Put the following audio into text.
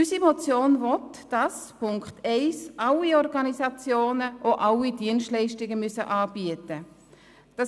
Unsere Motion will, dass gemäss Punkt 1 alle Organisationen auch alle Dienstleistungen anbieten müssen.